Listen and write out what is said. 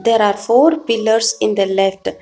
there are four pillars in the left.